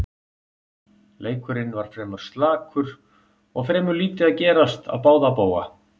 Leikurinn var fremur slakur og fremur lítið að gerast á báða bóga.